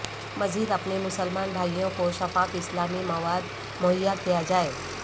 مزید اپنے مسلمان بھائیوں کو شفاف اسلامی مواد مہیا کیا جائے